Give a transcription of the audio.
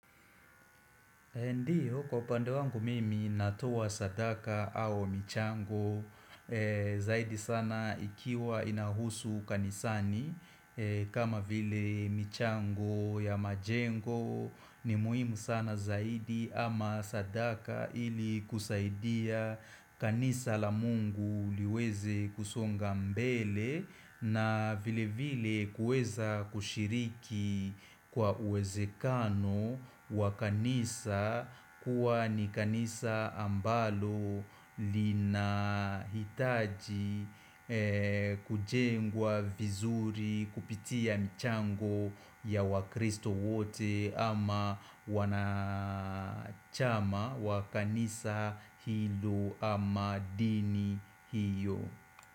Dio, kwa upande wangu mimi natowa sadaka au michango zaidi sana ikiwa inahusu kanisani kama vile michango ya majengo ni muhimu sana zaidi ama sadaka ili kusaidia kanisa la mungu liweze kusonga mbele na vile vile kuweza kushiriki kwa uwezekano wa kanisa kuwa ni kanisa ambalo linahitaji kujengwa vizuri kupitia michango ya wakristo wote ama wanachama wa kanisa hilo ama dini hiyo.